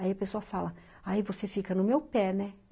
Aí a pessoa fala, aí você fica no meu pé, né?